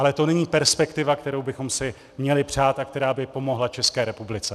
Ale to není perspektiva, kterou bychom si měli přát a která by pomohla České republice.